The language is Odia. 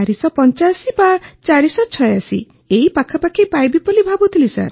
485 ବା 486 ପାଖାପାଖି ପାଇବି ବୋଲି ଭାବୁଥିଲି